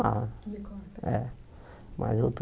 é mas outro